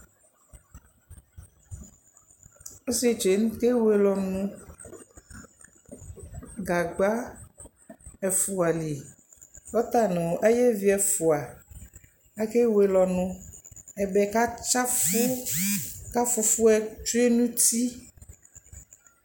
Ɔsɩetsu yɛ nʋ ɔta ewele ɔnʋ Gagba ɛfʋa li kʋ ɔta nʋ ayevi ɛfʋa akewele ɔnʋ Ɛbɛ katsɩ afʋ kʋ afʋfʋ yɛ tsue nʋ uti